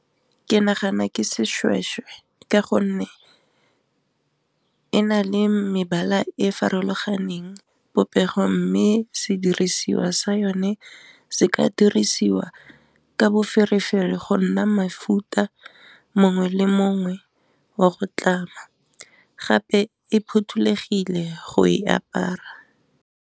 Ke nagana ke seshweshwe ka gonne e na le mebala e farologaneng popego mme se dirisiwa sa yone se ka a dirisiwa ka boferefere go nna mafuta mongwe le mongwe wa go tlama, gape e phothulogile go e apara.